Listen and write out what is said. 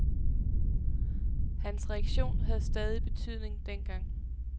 Hans reaktion havde stadig betydning dengang.